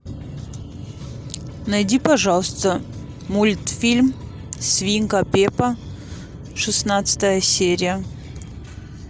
найди пожалуйста мультфильм свинка пеппа шестнадцатая серия